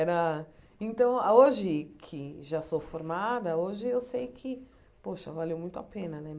Era... Então, a hoje que já sou formada, hoje eu sei que, poxa, valeu muito a pena, né?